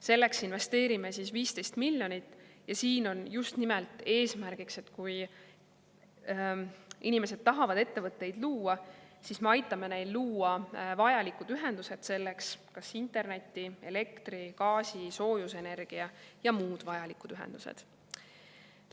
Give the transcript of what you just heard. Selleks investeerime 15 miljonit ja siin on just nimelt eesmärgiks, et kui inimesed tahavad ettevõtteid luua, siis me aitame neil luua selleks vajalikud ühendused: interneti‑, elektri‑, gaasi‑, soojusenergia‑ ja muud vajalikud ühendused.